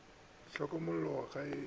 di hlokomellwe ka ge e